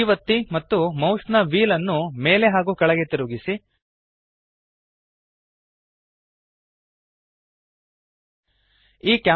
D ಒತ್ತಿ ಮತ್ತು mouse ನ ವ್ಹೀಲ್ ಅನ್ನು ಮೇಲೆ ಹಾಗೂ ಕೆಳಗೆ ತಿರುಗಿಸಿರಿ